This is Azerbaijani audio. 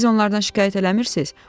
Siz onlardan şikayət eləmirsiz?